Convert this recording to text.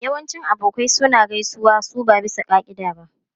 Yawancin abokai suna gaisuwa su ba bisa ka'ida ba.